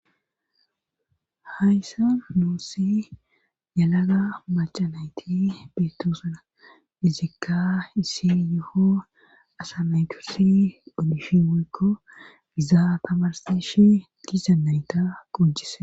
hayssa noossi yalaga machanayti beettoosana izikka isi yuho asa maytursi olishi mokko gizaa tamarseshe gizanayta qujise